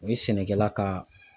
O ye sɛnɛkɛla ka